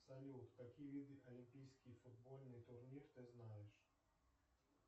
салют какие виды олимпийский футбольный турнир ты знаешь